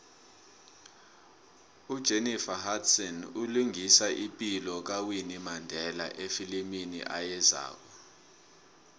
ujenifer hudson ulingisa ipilo kawinnie mandela efilimini ayezako